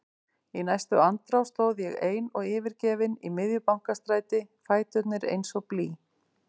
Í næstu andrá stóð ég ein og yfirgefin í miðju Bankastræti, fæturnir eins og blý.